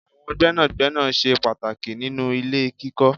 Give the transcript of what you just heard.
Àwọn gbénàgbénà ṣe pàtàkì nínú ilé kíkọ́.